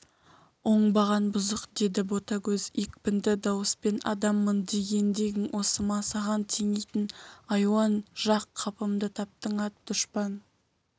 оңбаған бұзық деді ботагөз екпінді дауыспен адаммын дегендегің осы ма саған теңейтін айуан жақ қапымды таптың ат дұшпан